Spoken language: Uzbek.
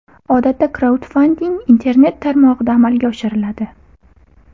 Odatda kraudfanding internet tarmog‘ida amalga oshiriladi.